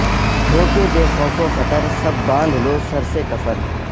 ہو کے بے خوف و خطر سب باندھ لو سر سے کفن